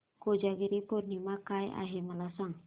कोजागिरी पौर्णिमा काय आहे मला सांग